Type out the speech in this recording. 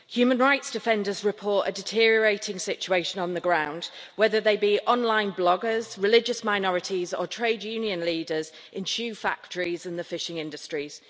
Human rights defenders report a deteriorating situation on the ground, whether they be online bloggers, religious minorities or trade union leaders in shoe factories or in the fishing industries.